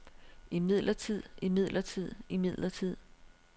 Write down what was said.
imidlertid imidlertid imidlertid